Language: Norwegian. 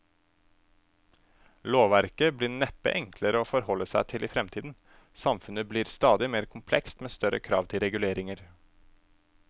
Lovverket blir neppe enklere å forholde seg til i fremtiden, samfunnet blir stadig mer komplekst med større krav til reguleringer.